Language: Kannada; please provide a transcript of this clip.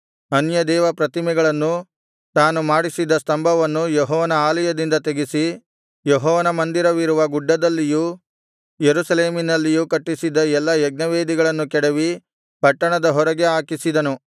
ಅನ್ಯದೇವತಾಪ್ರತಿಮೆಗಳನ್ನೂ ತಾನು ಮಾಡಿಸಿದ್ದ ಸ್ತಂಭವನ್ನೂ ಯೆಹೋವನ ಆಲಯದಿಂದ ತೆಗೆಸಿ ಯೆಹೋವನ ಮಂದಿರವಿರುವ ಗುಡ್ಡದಲ್ಲಿಯೂ ಯೆರೂಸಲೇಮಿನಲ್ಲಿಯೂ ಕಟ್ಟಿಸಿದ್ದ ಎಲ್ಲಾ ಯಜ್ಞವೇದಿಗಳನ್ನು ಕೆಡವಿ ಪಟ್ಟಣದ ಹೊರಗೆ ಹಾಕಿಸಿದನು